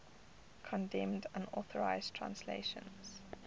condemned unauthorized translations